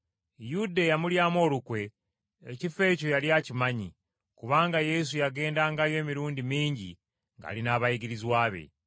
Yuda, eyamulyamu olukwe, ekifo ekyo yali akimanyi, kubanga Yesu yagendangayo emirundi mingi ng’ali n’abayigirizwa be.